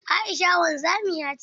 Aisha wanzamiya ce.